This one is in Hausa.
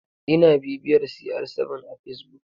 Ina bibiyar cr7 a facebook.